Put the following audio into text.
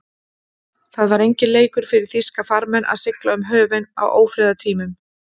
Það var enginn leikur fyrir þýska farmenn að sigla um höfin á ófriðartímum.